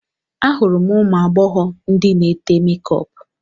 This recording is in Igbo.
Ahụrụ m ụmụ agbọghọ ndị na-ete mekup